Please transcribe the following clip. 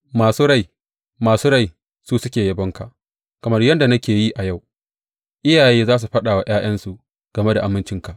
Masu rai, masu rai, su suke yabonka, kamar yadda nake yi a yau; iyaye za su faɗa wa ’ya’yansu game da amincinka.